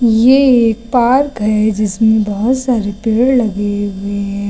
ये एक पार्क है जिसमें बहुत सारे पेड़ लगे हुए हैं।